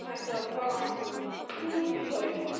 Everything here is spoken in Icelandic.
Þetta var fáránlegt mark, er það ekki?